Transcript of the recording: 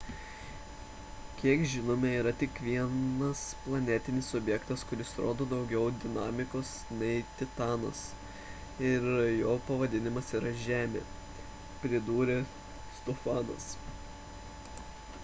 kiek žinome yra tik vienas planetinis objektas kuris rodo daugiau dinamikos nei titanas ir jo pavadinimas yra žemė – pridūrė stofanas